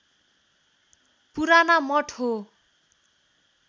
पुराना मठ हो